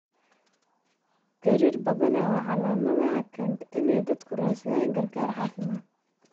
Gariir badanaa waa calaamada keenta in dadku ay raadsadaan gargaar caafimaad.